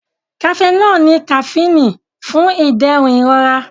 Cafenol ní kafíìnì fún ìdẹ̀rùn ìrora.